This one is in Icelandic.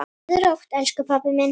Sofðu rótt, elsku pabbi minn.